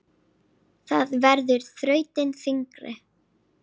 Það verður þrautin þyngri.